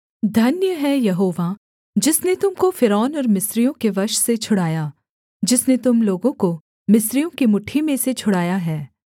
धन्य है यहोवा जिसने तुम को फ़िरौन और मिस्रियों के वश से छुड़ाया जिसने तुम लोगों को मिस्रियों की मुट्ठी में से छुड़ाया है